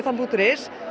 punktur is